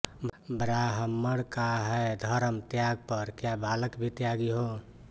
ब्राह्मण का है धर्म त्याग पर क्या बालक भी त्यागी हों